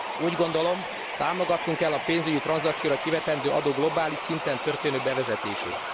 Úgy gondolom, támogatnunk kell a pénzügyi tranzakciókra kivetendő adó globális szinten történő bevezetését.